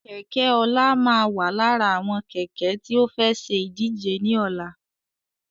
Kẹ̀kẹ́ ọlá máa wà lára àwọn Kẹ̀kẹ́ tí ó fẹ́ ṣe ìdíje ni ọ̀la